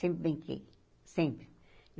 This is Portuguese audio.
Sempre brinquei, sempre.